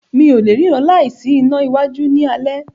Mi o lẹ̀ rína láì sí iná iwájú ní alé.